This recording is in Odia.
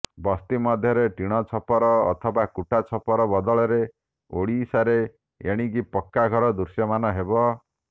ବସ୍ତି ମଧ୍ୟରେ ଟିଣ ଛପର ଅଥବା କୁଟା ଛପର ବଦଳରେ ଓଡ଼ିଶାରେ ଏଣିକି ପକ୍କା ଘର ଦୃଶ୍ୟମାନ ହେବ